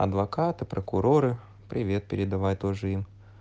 адвокаты прокуроры привет передавай тоже им